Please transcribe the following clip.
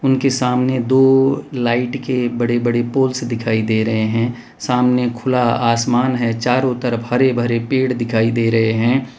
उनके सामने दो लाइट के बड़े बड़े पोल्स दिखाई दे रहे हैं सामने खुला आसमान है चारों तरफ हरे भरे पेड़ दिखाई दे रहे हैं।